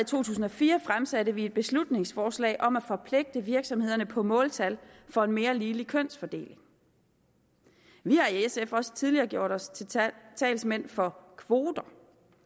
tusind og fire fremsatte vi et beslutningsforslag om at forpligte virksomhederne på måltal for en mere ligelig kønsfordeling vi har i sf også tidligere gjort os til til talsmænd for kvoter